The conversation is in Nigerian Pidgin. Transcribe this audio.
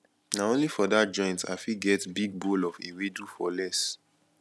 na only for dat joint i fit get big bowl of ewedu for less